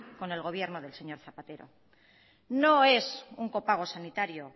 con el gobierno del señor zapatero no es un copago sanitario